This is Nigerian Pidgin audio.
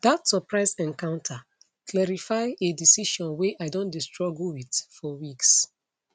that surprise encounter clarify a decision wey i don dey struggle with for weeks